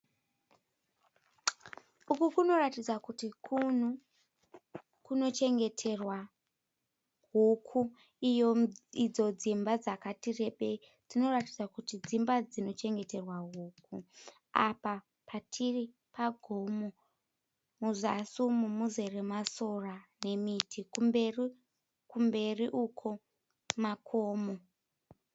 Uku kunoratidza kuti kunhu kunochengeterwa huku. Idzo dzimba dzakatirebei dzinoratidza kuti dzimba dzinochengeterwa huku. Apa patiri pagomo. Muzasi umu muzere masora ne miti. Kumberi uko makomo.